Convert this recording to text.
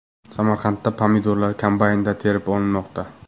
Samarqandda pomidorlar kombaynda terib olinmoqda .